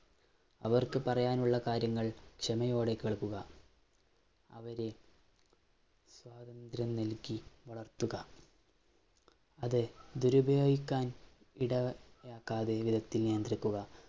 അവര്‍ക്ക് പറയാനുള്ള കാര്യങ്ങള്‍ ക്ഷമയോടെ കേള്‍ക്കുക. അവരെ സ്വാതന്ത്ര്യം നല്‍കി വളര്‍ത്തുക അത് ദുരുപയോഗിക്കാന്‍ ഇടയാ~ക്കാതെ വിധത്തില്‍ നിയന്ത്രിക്കുക.